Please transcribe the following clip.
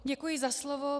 Děkuji za slovo.